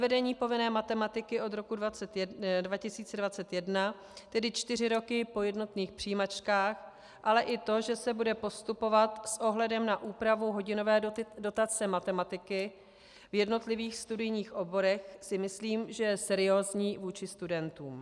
Zavedení povinné matematiky od roku 2021, tedy čtyři roky po jednotných přijímačkách, ale i to, že se bude postupovat s ohledem na úpravu hodinové dotace matematiky v jednotlivých studijních oborech, si myslím, že je seriózní vůči studentům.